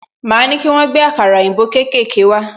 Máa ní kí wọ́n gbé àkàrà òyìnbó kékèké wá